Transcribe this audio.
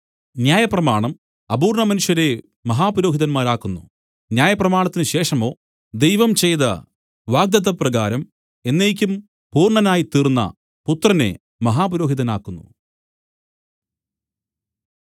ന്യായപ്രമാണം അപൂര്‍ണ്ണ മനുഷ്യരെ മഹാപുരോഹിതന്മാരാക്കുന്നു ന്യായപ്രമാണത്തിന് ശേഷമോ ദൈവം ചെയ്ത വാഗ്ദത്തപ്രകാരം എന്നേക്കും പൂർണ്ണനായിത്തീർന്ന പുത്രനെ മഹാപുരോഹിതനാക്കുന്നു